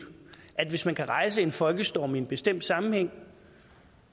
at hvis man kan rejse en folkestorm i en bestemt sammenhæng